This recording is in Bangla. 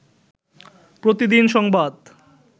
প্রতিদিন সংবাদ